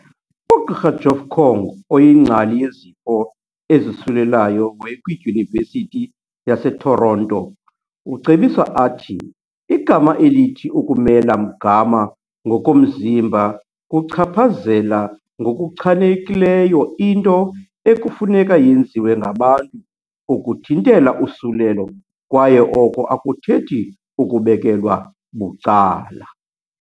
UGqr Jeff Kwong oyingcali yezifo ezosulelayo we kwiDyunivesithi yaseToronto, ucebisa athi igama elithi ukumela mgama ngokomzimba kuchaphazela ngokuchanekileyo into ekufuneka yenziwe ngabantu ukuthintela usulelo kwaye oko akuthethi ukubekelwa bucala.